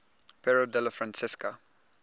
piero della francesca